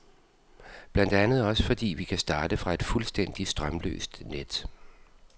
Blandt andet også fordi, vi kan starte fra et fuldstændig strømløst net.